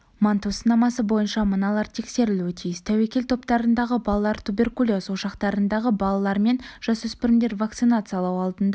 манту сынамасы бойынша мыналар тексерілуі тиіс тәуекел топтарындағы балалар туберкулез ошақтарындағы балалар мен жасөспірімдер вакцинациялау алдында